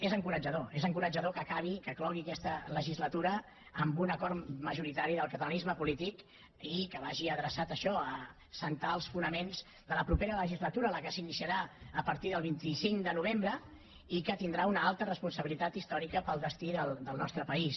és encoratjador és encoratjador que acabi que clogui aquesta legislatura amb un acord majoritari del catalanisme polític i que vagi adreçat això a assentar els fonaments de la propera legislatura la que s’iniciarà a partir del vint cinc de novembre i que tindrà una alta responsabilitat històrica per al destí del nostre país